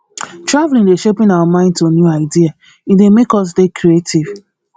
traveling dey sharpen our mind to new idea e dey make us dey creative